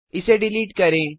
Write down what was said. इसे डिलीट करें